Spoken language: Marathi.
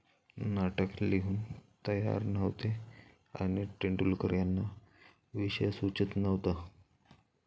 नाटक लिहून तयार नव्हते आणि तेंडुलकर यांना विषय सुचत नव्हता.